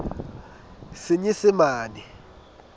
senyesemane